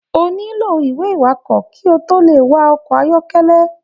O nilo ìwé iwakọ ki o to le wa ọkọ ayọkẹlẹ.